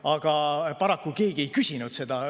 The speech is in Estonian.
Aga paraku keegi ei küsinud seda.